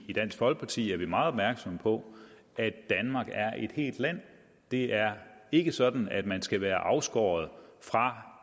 i dansk folkeparti er meget opmærksomme på at danmark er et helt land det er ikke sådan at man skal være afskåret fra